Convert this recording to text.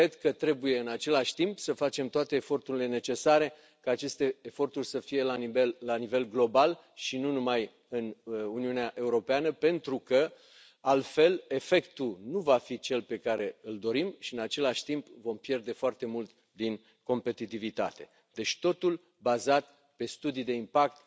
Cred că trebuie în același timp să facem toate eforturile necesare ca aceste eforturi să fie la nivel global, și nu numai în Uniunea Europeană, pentru că altfel efectul nu va fi cel pe care îl dorim și în același timp vom pierde foarte mult din competitivitate, deci totul bazat pe studii de impact,